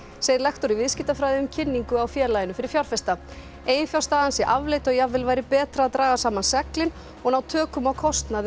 segir lektor í viðskiptafræði um kynningu á félaginu fyrir fjárfesta eiginfjárstaðan sé afleit og jafnvel væri betra að draga saman seglin og ná tökum á kostnaði og